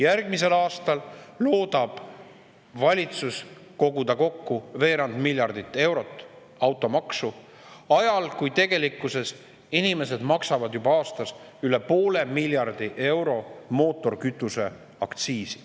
Järgmisel aastal loodab valitsus koguda kokku veerand miljardit eurot automaksu, ja seda ajal, kui tegelikkuses inimesed maksavad juba aastas üle poole miljardi euro mootorikütuse aktsiisi.